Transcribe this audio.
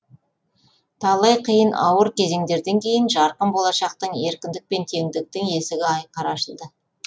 талай қиын ауыр кезеңдерден кейін жарқын болашақтың еркіндік пен теңдіктің есігі айқара ашылды